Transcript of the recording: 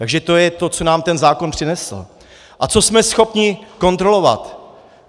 Takže to je to, co nám ten zákon přinesl a co jsme schopni kontrolovat.